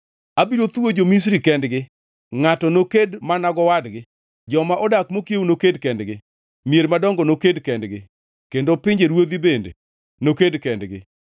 “Abiro thuwo jo-Misri kendgi, ngʼato noked mana gowadgi, joma odak mokiewo noked kendgi, mier madongo noked kendgi, kendo pinjeruodhi bende noked kendgi.